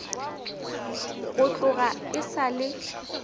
go tloga e sa le